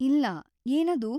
ಇಲ್ಲ, ಏನದು?